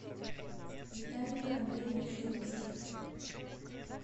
виталию андреевичу русских